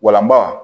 Walanba